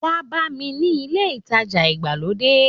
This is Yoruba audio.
Wá bá mi ni ilé ìtajà ìgbàlódé